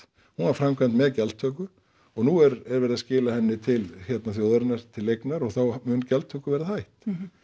hún var framkvæmd með gjaldtöku og nú er er verið að skila henni til þjóðarinnar til eignar og þá mun gjaldtöku verða hætt